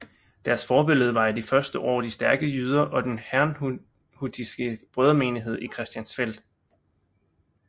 Deres forbillede var i de første år de stærke jyder og den herrnhutiske brødremenighed i Christiansfeld